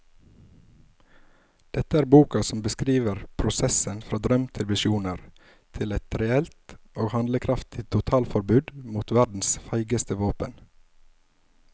Dette er boka som beskriver prosessen fra drøm til visjoner til et reelt og handlekraftig totalforbud mot verdens feigeste våpen.